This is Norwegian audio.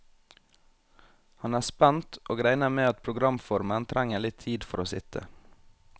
Han er spent, og regner med at programformen trenger litt tid for å sitte.